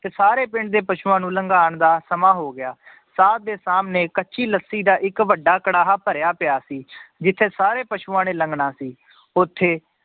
ਤੇ ਸਾਰੇ ਪਿੰਡ ਦੇ ਪਸੂਆਂ ਨੂੰ ਲੰਘਾਣ ਦਾ ਸਮਾਂ ਹੋ ਗਿਆ ਸਾਧ ਦੇ ਸਾਹਮਣੇ ਕੱਚੀ ਲੱਸੀ ਦਾ ਇੱਕ ਵੱਡਾ ਕੜਾਹਾ ਭਰਿਆ ਪਿਆ ਸੀ ਜਿੱਥੇ ਸਾਰੇ ਪਸੂਆਂ ਨੇ ਲੰਘਣਾ ਸੀ, ਉੱਥੇ